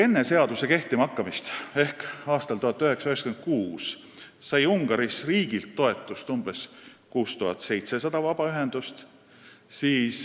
Enne seaduse kehtimahakkamist ehk aastal 1996 sai Ungaris riigilt toetust umbes 6700 vabaühendust.